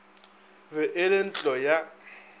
be e le ntlo ya